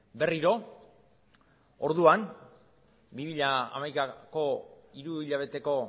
berriro orduan bi mila hamaikako hiru hilabeteko